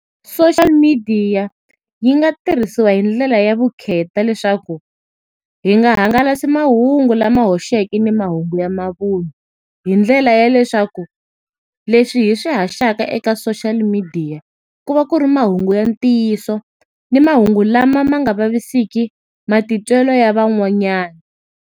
Social midiya yi nga tirhisiwa hi ndlela ya vukheta leswaku hi nga hangalasi mahungu lama hoxeke ni mahungu ya mavun'wa. Hi ndlela ya leswaku, leswi hi swi haxaka eka social midiya, ku va ku ri mahungu ya ntiyiso, ni mahungu lama ma nga vaviseki matitwelo ya van'wanyana.